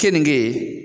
Keninge